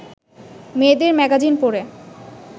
মেয়েদের ম্যাগাজিন পড়ে